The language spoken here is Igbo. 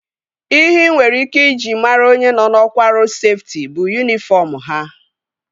Ihe ị nwere ike iji mara onye nọ na ọkwá ọrụ rodu seftị bụ yunifọm ha